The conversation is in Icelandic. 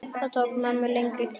Það tók mömmu lengri tíma.